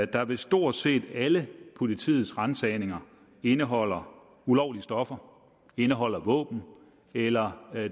der ved stort set alle politiets ransagninger indeholder ulovlige stoffer indeholder våben eller